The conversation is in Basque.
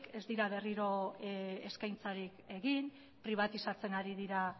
ez dira berriro eskaintzarik egin pribatizatzen ari dira